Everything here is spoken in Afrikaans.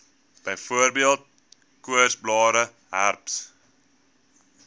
byvoorbeeld koorsblare herpes